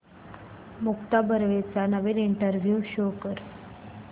मुक्ता बर्वेचा नवीन इंटरव्ह्यु शोध